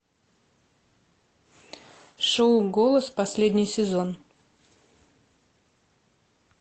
шоу голос последний сезон